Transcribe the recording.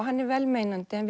hann er velmeinandi en